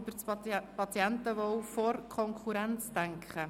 Ich möchte aber niemandem das Wort nehmen.